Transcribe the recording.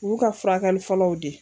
U y'u ka furakɛli fɔlɔw di.